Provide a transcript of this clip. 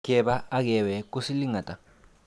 Keba ak kewek ko siling ata?